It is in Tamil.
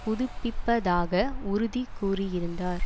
புதுப்பிப்பதாக உறுதி கூறியிருந்தார்